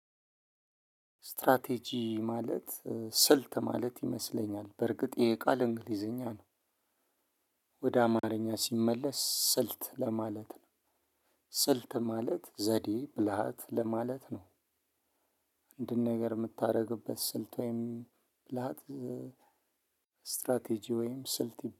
እስትራቴጂ ማለት ስልት ማለት ይመስለኛል በርግጥ ይህ ቃል እንግሊዘኛ ነው። ወደ አማርኛ ሲመለስ ስልት ለማለት ነው። ስልት ማለት ዘዴ ብልሃት ለማለት ነው። አንድን ነገር ምታረግበት ስልት ወይም ብልሃት እስትራቴጂ ወይም ስልት